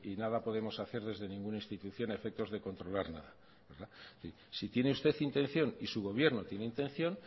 nada podemos hacer desde ninguna institución a efectos de controlar nada si tiene usted intención y su gobierno tiene intención